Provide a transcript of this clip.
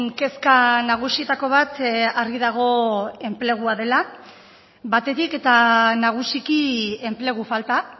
kezka nagusietako bat argi dago enplegua dela batetik eta nagusiki enplegu falta